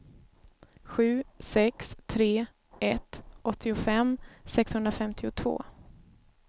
sju sex tre ett åttiofem sexhundrafemtiotvå